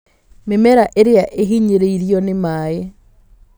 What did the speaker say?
Mĩmera ĩrĩa ĩhinyĩrĩirio nĩ maĩ